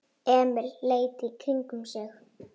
Emil leit í kringum sig.